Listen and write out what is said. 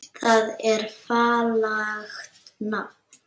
Það er fallegt nafn.